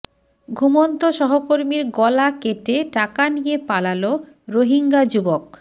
ঘুমন্ত সহকর্মীর গলা কেটে টাকা নিয়ে পালাল রোহিঙ্গা যুবক